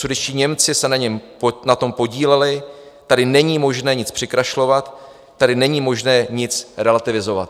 Sudetští Němci se na tom podíleli, tady není možné nic přikrašlovat, tady není možné nic relativizovat.